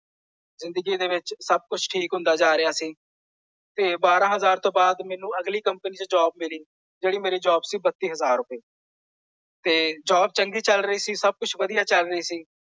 ਜਿੰਦਗੀ ਦੇ ਵਿੱਚ ਸਭ ਕੁੱਝ ਠੀਕ ਹੁੰਦਾ ਜਾ ਰਿਹਾ ਸੀ। ਫੇਰ ਬਾਰਾਂ ਹਜ਼ਾਰ ਤੋਂ ਬਾਅਦ ਮੈਨੂੰ ਅਗਲੀ ਕੰਪਨੀ ਚ ਜੌਬ ਮਿਲੀ। ਜਿਹੜੀ ਮੇਰੀ ਜ਼ੋਬ ਸੀ ਬਤੀਹ ਹਜ਼ਾਰ ਰੁਪਏ। ਤੇ ਜੌਬ ਚੰਗੀ ਚੱਲ ਰਹੀ ਸੀ ਸਭ ਕੁੱਝ ਵਧੀਆ ਚੱਲ ਰਹੀ ਸੀ।